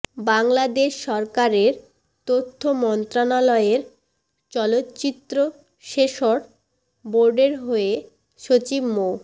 বাংলাদেশ সরকারের তথ্য মন্ত্রণালয়ের চলচ্চিত্র সেন্সর বোর্ডের হয়ে সচিব মো